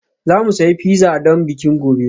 Za mu sayi pizza don bikin gobe